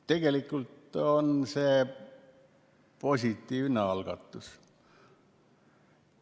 Tegelikult on see positiivne algatus.